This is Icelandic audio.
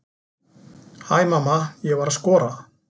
Hæ mamma, ég var að skora!